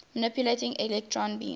manipulating electron beams